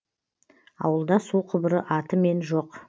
ауылда су құбыры атымен жоқ